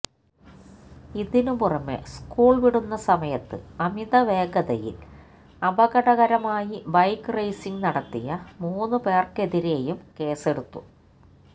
ഇതിന് പുറമെ സ്കൂള് വിടുന്ന സമയത്ത് അമിത വേഗതയില് അപകടകരമായി ബൈക്ക് റേസിംഗ് നടത്തിയ മൂന്ന് പേര്ക്കെതിരെയും കേസെടുത്തു